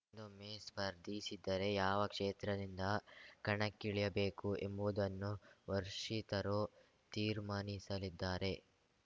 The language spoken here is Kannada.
ದೊಮ್ಮೆ ಸ್ಪರ್ಧಿಸಿದರೆ ಯಾವ ಕ್ಷೇತ್ರದಿಂದ ಕಣಕ್ಕಿಳಿಯಬೇಕು ಎಂಬುವುದನ್ನು ವರ್ಶಿತರು ತೀರ್ಮಾನಿಸಲಿದ್ದಾರೆ